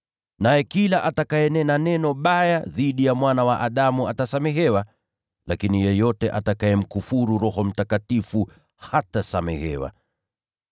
Naye kila atakayenena neno baya dhidi ya Mwana wa Adamu atasamehewa, lakini yeyote atakayemkufuru Roho Mtakatifu hatasamehewa.